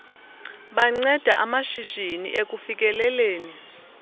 banceda amashishini ekufikeleleni